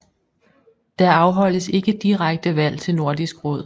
Der afholdes ikke direkte valg til Nordisk Råd